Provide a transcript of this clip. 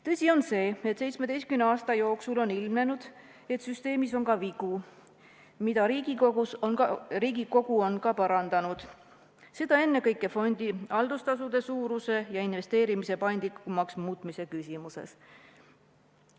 Tõsi on see, et 17 aasta jooksul on ilmnenud, et süsteemis on ka vigu, mida Riigikogu on ka parandanud, seda ennekõike fondi haldustasude suuruse ja investeerimise paindlikumaks muutmise küsimuses.